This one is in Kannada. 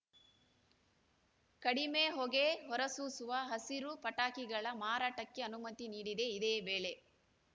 ಕಡಿಮೆ ಹೊಗೆ ಹೊರಸೂಸುವ ಹಸಿರು ಪಟಾಕಿಗಳ ಮಾರಾಟಕ್ಕೆ ಅನುಮತಿ ನೀಡಿದೆ ಇದೇ ವೇಳೆ